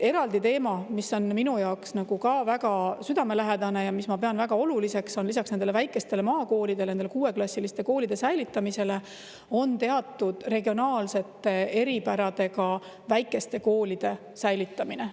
Eraldi teema, mis on minu jaoks ka väga südamelähedane ja mida ma pean väga oluliseks lisaks nende väikeste maakoolide, nende kuueklassiliste koolide säilitamisele, on teatud regionaalsete eripäradega väikeste koolide säilitamine.